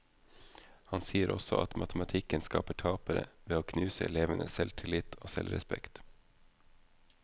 Han sier også at matematikken skaper tapere, ved å knuse elevenes selvtillit og selvrespekt.